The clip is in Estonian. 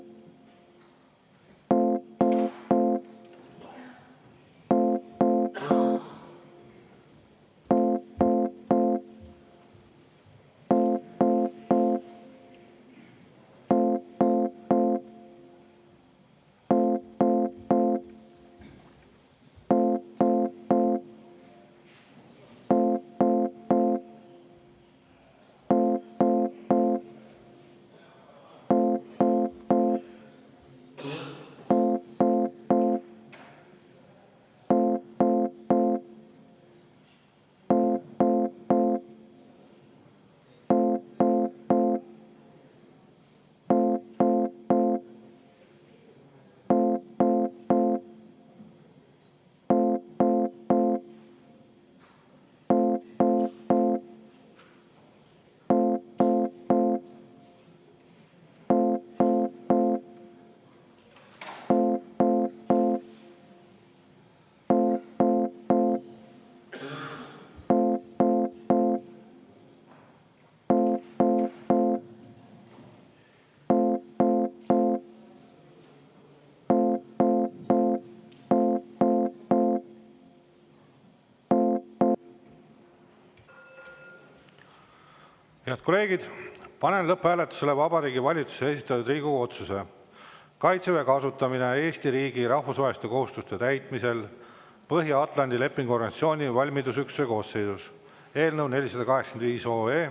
Head kolleegid, panen lõpphääletusele Vabariigi Valitsuse esitatud Riigikogu otsuse "Kaitseväe kasutamine Eesti riigi rahvusvaheliste kohustuste täitmisel Põhja-Atlandi Lepingu Organisatsiooni valmidusüksuste koosseisus" eelnõu 485.